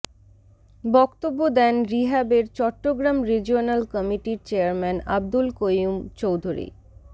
বক্তব্য দেন রিহ্যাবের চট্টগ্রাম রিজিওনাল কমিটির চেয়ারম্যান আবদুল কৈয়ূম চৌধুরী